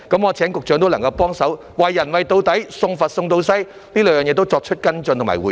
我請局長幫忙，"為人為到底，送佛送到西"，對這兩件事也作出跟進和回應。